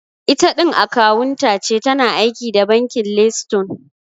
Itaɗin akawunta ce, tana aiki da bankin leystone